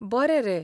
बरें रे.